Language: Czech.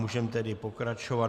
Můžeme tedy pokračovat.